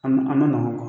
A ma a ma nɔgɔn